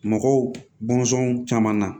Mɔgɔw bɔnsɔnw caman na